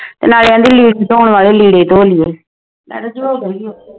ਨਾਲ ਏ ਆਂਦੀ ਲੀੜੇ ਧੋਣ ਵਾਲੇ ਲੀੜੇ ਧੋ ਲੀਏ